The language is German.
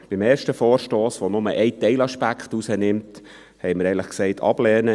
Zum ersten Vorstoss , der nur einen Teilaspekt herausgreift, sagten wir, ehrlich gesagt, «ablehnen».